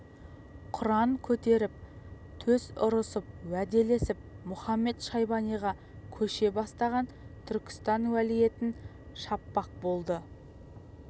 құран көтеріп төс ұрысып уәделесіп мұхамед-шайбаниға көше бастаған түркістан уәлиетін шаппақ болды